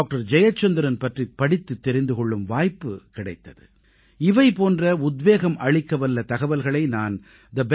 ஜெயச்சந்திரன் பற்றிப் படித்துத் தெரிந்து கொள்ளும் வாய்ப்பு கிடைத்தது இவை போன்ற உத்வேகம் அளிக்கவல்ல தகவல்களை நான் thebetterindia